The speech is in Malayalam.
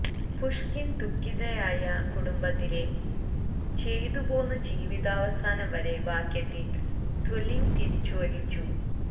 പുഷ്കിൻ ദുഃഖിതയായ കുടുംബത്തിലെ ചെയ്തു പോന്നു ജീവിതാവസാനം വരെ വാക്യത്തിൽ ദെല്വിഗ് തിരിച്ചുവിളിച്ചു